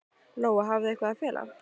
Lóa: Hafið þið eitthvað að fela?